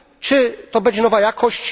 Czy to będzie nowa jakość?